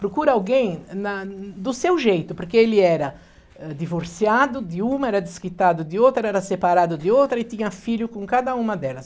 Procura alguém na do seu jeito, porque ele era eh divorciado de uma, era desquitado de outra, era separado de outra e tinha filho com cada uma delas.